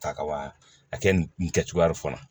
Ta kaban a kɛ nin kɛcogoya fana